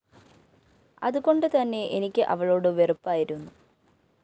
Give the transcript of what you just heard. അതുകൊണ്ട് തന്നെ എനിക്ക് അവളോടു വെറുപ്പായിരുന്നു